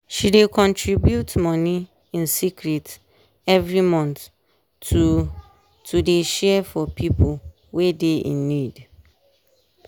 she dey contribute money in secret every month to to dey share for pipo wey dey in need.